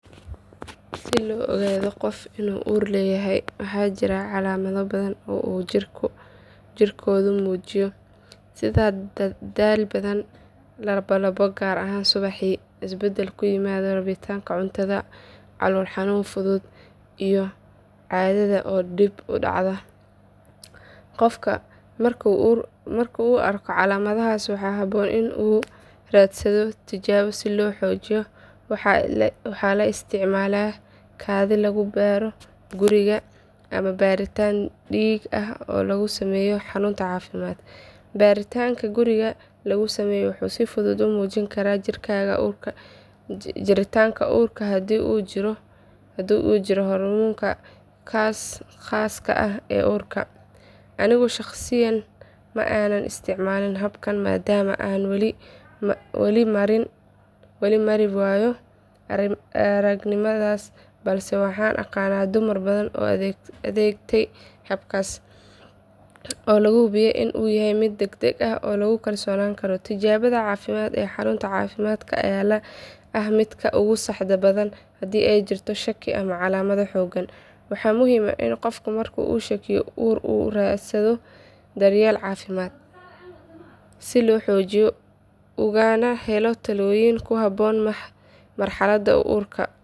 Si loo ogaado qof inuu uur leeyahay waxaa jira calaamado badan oo uu jirkoodu muujiyo sida daal badan, lalabo gaar ahaan subaxii, isbedel ku yimaada rabitaanka cuntada, calool xanuun fudud, iyo caadada oo dib u dhacda. Qofka marka uu arko calaamadahaas waxaa habboon in uu raadsado tijaabo si loo xaqiijiyo. Waxaa la isticmaalaa kaadi lagu baaro guriga ama baaritaan dhiig ah oo lagu sameeyo xarun caafimaad. Baaritaanka guriga lagu sameeyo wuxuu si fudud u muujin karaa jiritaanka uur haddii uu jirto hormoonka khaaska ah ee uurka. Anigu shaqsiyan ma aanan isticmaalin habkan maadaama aanan weli mari waayo aragnimadaas balse waxaan aqaan dumar badan oo adeegtay habkaas oo la hubo in uu yahay mid degdeg ah oo lagu kalsoonaan karo. Tijaabada caafimaad ee xarunta caafimaadka ayaa ah midka ugu saxda badan haddii ay jirto shaki ama calaamado xooggan. Waxaa muhiim ah in qofka markuu ka shakiyo uur uu raadsado daryeel caafimaad si loogu xaqiijiyo ugana helo talooyin ku habboon marxaladda uu ku jiro.